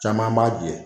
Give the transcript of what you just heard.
Caman b'a jɛ